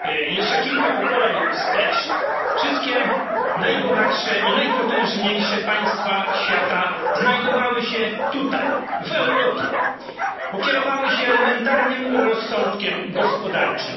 Jeszcze kilka pokoleń wstecz wszystkie najbogatsze i najpotężniejsze państwa świata znajdowały się tutaj w Europie, bo kierowały się elementarnym rozsądkiem gospodarczym.